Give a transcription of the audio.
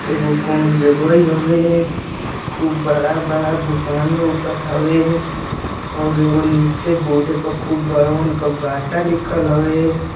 एगो कोनो जगह होवे। खूब बड़ा-बड़ा दुकान लउकत हवे और नीचे बोर्ड प खूब बड़हन क बाटा लिखल हवे।